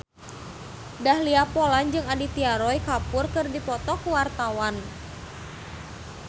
Dahlia Poland jeung Aditya Roy Kapoor keur dipoto ku wartawan